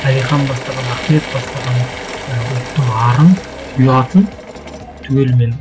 әлихан бастаған ахмет бастаған і ұлттың арын ұятын түгелімен